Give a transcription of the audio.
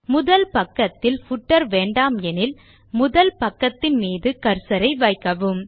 முதல் பக்கத்தில் பூட்டர் வேண்டாமெனில் முதல் பக்கத்தின் மீது கர்சர் ஐ வைக்கவும்